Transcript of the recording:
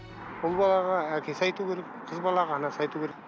ұл балаға әкесі айту керек қыз балаға анасы айту керек